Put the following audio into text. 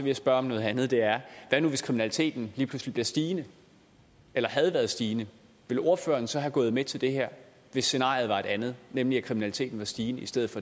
jeg spørge om noget andet og det er hvad nu hvis kriminaliteten lige pludselig stiger eller havde været stigende ville ordføreren så være gået med til det her hvis scenariet var et andet nemlig at kriminaliteten var stigende i stedet